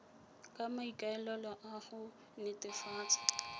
ka maikaelelo a go netefatsa